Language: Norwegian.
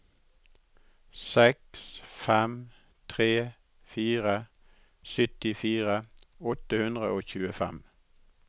seks fem tre fire syttifire åtte hundre og tjuefem